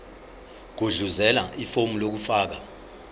gudluzela ifomu lokufaka